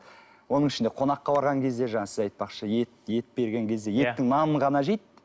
оның ішінде қонаққа барған кезде жаңағы сіз айтпақшы ет ет берген кезде еттің нанын ғана жейді